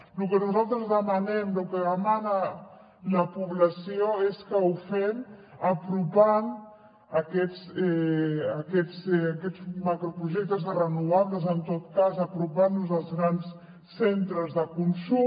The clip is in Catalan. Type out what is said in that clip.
lo que nosaltres demanem lo que demana la població és que ho fem apropant aquests macroprojectes de renovables en tot cas apropant los als grans centres de consum